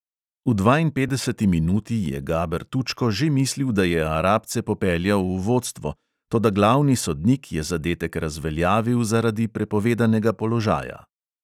V dvainpetdeseti minuti je gaber tučko že mislil, da je arabce popeljal v vodstvo, toda glavni sodnik je zadetek razveljavil zaradi prepovedanega položaja.